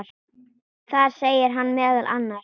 Þar segir hann meðal annars